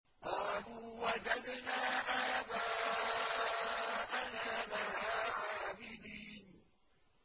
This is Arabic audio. قَالُوا وَجَدْنَا آبَاءَنَا لَهَا عَابِدِينَ